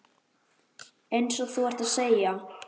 Eins og þú ert að segja.